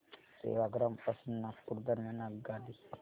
सेवाग्राम पासून नागपूर दरम्यान आगगाडी